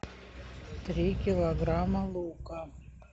три килограмма лука